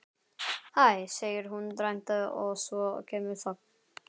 Hæ, segir hún dræmt og svo kemur þögn.